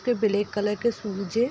Black colour shoes शूज है।